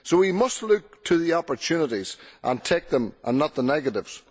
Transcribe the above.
So we must look to the opportunities and take them, and not the negatives.